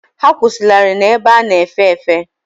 Ha akwụsịlarị n'ebe a na-efe efe.